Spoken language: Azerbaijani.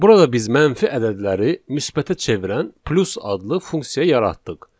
Burada biz mənfi ədədləri müsbətə çevirən plus adlı funksiya yaratdıq.